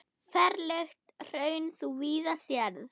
Ferlegt hraun þú víða sérð.